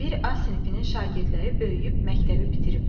Bir A sinifinin şagirdləri böyüyüb məktəbi bitiriblər.